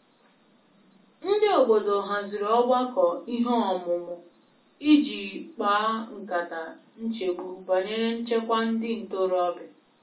Ndị obodo haziri ogbakọ ihe omumu i ji kpa nkata nchegbu banyere nchekwa ndị ntorobịa.